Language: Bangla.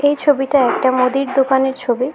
এই ছবিটা একটা মোদির দোকানের ছবি।